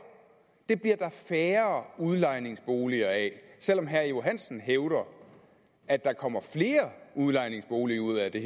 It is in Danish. og det bliver der færre udlejningsboliger af selv om herre johansen hævder at der kommer flere udlejningsboliger ud af det